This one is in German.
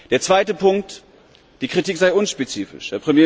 Der zweite Punkt Die Kritik sei unspezifisch.